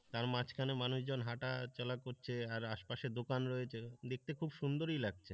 তার মাঝখানে মানুষজন হাটা চলা করছে আর আশপাশে দোকান রয়েছে দেখতে খুব সুন্দরই লাগছে।